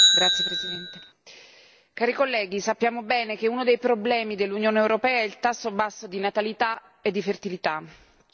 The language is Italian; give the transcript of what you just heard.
Signor Presidente, onorevoli colleghi, sappiamo bene che uno dei problemi dell'Unione europea è il tasso basso di natalità e di fertilità.